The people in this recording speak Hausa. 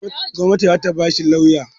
Gwanati zata ba shi lauya